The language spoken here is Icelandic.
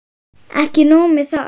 Ekki nóg með það.